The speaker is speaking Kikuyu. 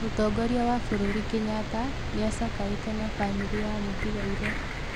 Mũtongoria wa bũrũri Kenyatta nĩacakaĩte na bamĩrĩ ya mũtiga-irĩ.